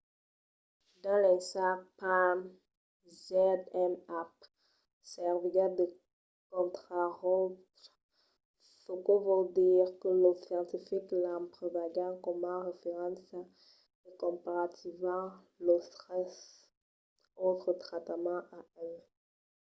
dins l'ensag palm zmapp serviguèt de contraròtle çò que vòl dire que los scientifics l’emplegavan coma referéncia e comparavan los tres autres tractaments a el